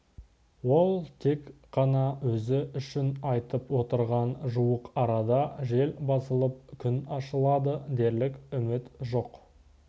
ол тек қана өзі үшін айтып отырған жуық арада жел басылып күн ашылады дерлік үміт жоқ